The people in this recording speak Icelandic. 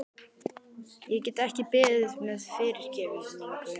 Ég get ekki beðið um fyrirgefningu.